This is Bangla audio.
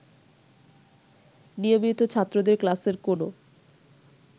নিয়মিত ছাত্রদের ক্লাসের কোন